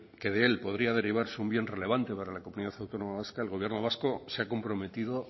que de él podría derivarse un bien relevante para la comunidad autónoma vasca el gobierno vasco se ha comprometido